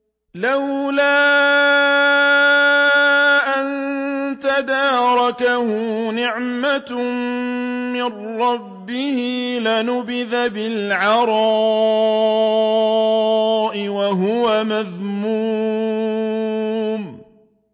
لَّوْلَا أَن تَدَارَكَهُ نِعْمَةٌ مِّن رَّبِّهِ لَنُبِذَ بِالْعَرَاءِ وَهُوَ مَذْمُومٌ